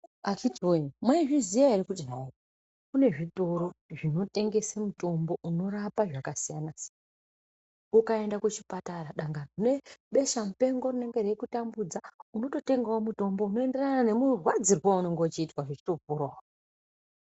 Akiti woye mwaizviziya ere kuti hayi kune zvitoro zvinotengese mitombo unorape zvakasiyana siyana ukaenda kuchipatara dangani une besha mupengo rinenge reikutambudza unototengawo mhtombo unoenderana nemurwadzirwo waunenga uchiitwa rechitoporawo.